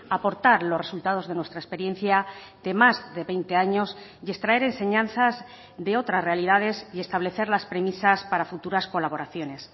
aportar los resultados de nuestra experiencia de más de veinte años y extraer enseñanzas de otras realidades y establecer las premisas para futuras colaboraciones